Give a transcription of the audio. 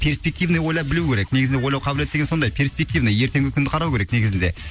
перспективный ойлап білу керек негізінде ойлау қабілет деген сондай перспективный ертеңгі күнді қарау керек негізінде